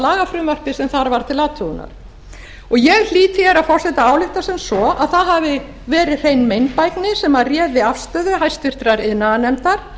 lagafrumvarpi sem þar var til athugunar ég hlýt því herra forseti að álykta sem svo að það hafi verið hrein meinbægni sem réði afstöðu háttvirtur iðnaðarnefndar